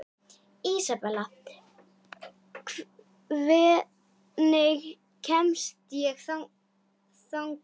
Ísabella, hvernig kemst ég þangað?